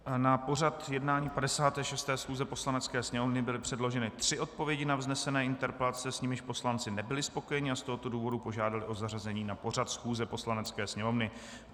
Na pořad jednání 56. schůze Poslanecké sněmovny byly předloženy tři odpovědi na vznesené interpelace, s nimiž poslanci nebyli spokojeni a z tohoto důvodu požádali o zařazení na pořad schůze Poslanecké sněmovny.